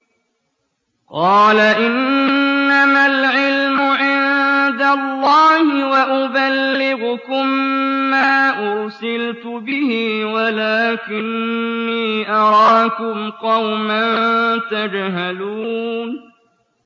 قَالَ إِنَّمَا الْعِلْمُ عِندَ اللَّهِ وَأُبَلِّغُكُم مَّا أُرْسِلْتُ بِهِ وَلَٰكِنِّي أَرَاكُمْ قَوْمًا تَجْهَلُونَ